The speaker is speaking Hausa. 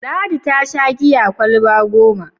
Ladi ta sha giya kwalaba goma.